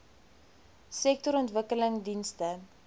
sektorontwikkelingdienste